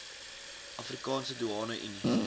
afrikaanse doeane unie